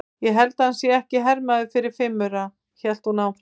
Ég held að hann sé ekki hermaður fyrir fimm aura, hélt hún áfram.